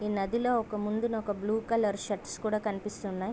ఈ నదిలో ఒక ముందున ఒక బ్లూ కలర్ షర్ట్స్ కూడా కనిపిస్తునాయి.